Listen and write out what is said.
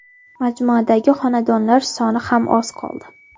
Majmuadagi xonadonlar soni ham oz qoldi!